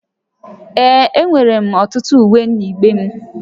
Ee, enwere m ọtụtụ uwe n'igbe m